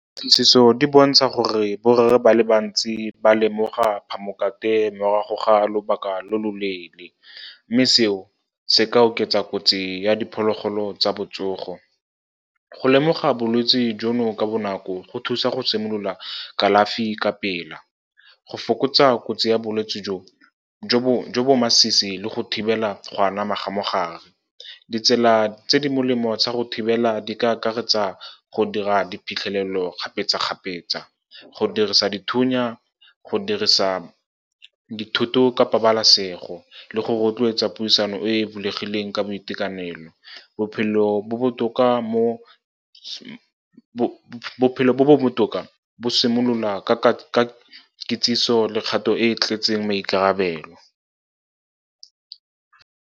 di bontsha gore borre ba le bantsi ba lemoga phamokate morago ga lobaka lo loleele, mme seo se ka oketsa kotsi ya diphologolo tsa botsogo. Go lemoga bolwetse jono ka bonako go thusa go simolola kalafi ka pele, go fokotsa kotsi ya bolwetse jo bo masisi le go thibela go anama ga mogare. Ditsela tse di molemo tsa go thibela di ka akaretsa go dira diphitlhelelo kgapetsakgapetsa, go dirisa dithunya, go dirisa dithoto ka pabalasego le go rotloetsa puisano e bulegileng ka boitekanelo. Bophelo bo bo botoka bo simolola ka kitsiso le kgato e e tletseng maikarabelo.